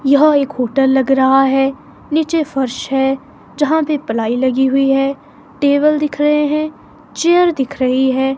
यह एक होटल लग रहा है नीचे फर्श है यहां पे प्लाई लगी हुई है टेबल दिख रहे हैं चेयर दिख रही है।